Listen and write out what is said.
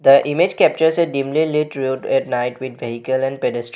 The image captures a deemly lit road at night with vehicle and pedes --